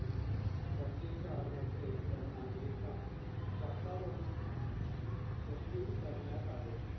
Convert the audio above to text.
पंचेचाळ मध्ये त्यांना एका चाकावर शहिद करण्यात आले.